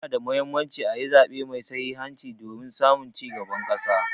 Ya na da Muhimmanci a yi zaɓe mai sahihanci domin samun ci gaban ƙasa.